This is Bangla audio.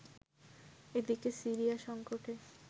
এদিকে, সিরিয়া সংকটে